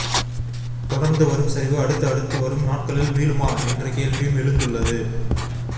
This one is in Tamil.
தொடர்ந்து வரும் சரிவு அடுத்த அடுத்து வரும் நாட்களில் மீளுமா என்ற கேள்வியும் எழுந்துள்ளது